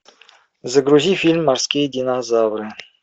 загрузи фильм морские динозавры